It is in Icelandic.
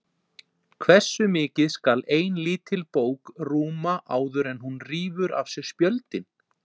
Hversu mikið skal ein lítil bók rúma áður en hún rífur af sér spjöldin?